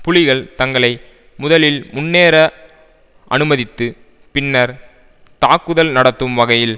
புலிகள் தங்களை முதலில் முன்னேற அனுமதித்து பின்னர் தாக்குதல் நடத்தும் வகையில்